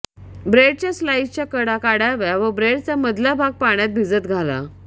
ब्रेडच्या स्लाईसच्या कडा काढाव्या व ब्रेडचा मधला भाग पाण्यात भिजत घाला